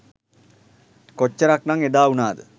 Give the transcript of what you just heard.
කොච්චරක් නං එදා උනාද?